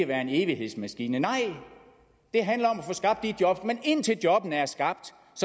være en evighedsmaskine nej det handler om at få skabt de job men indtil jobbene er skabt